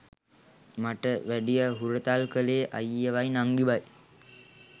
මට වැඩිය හුරතල් කලේ අයියවයි නංගිවයි.